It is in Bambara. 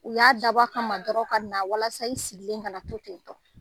U y'a dabɔ a ka ma dɔrɔn ka na walasa i sigilen kana na to ten tɔ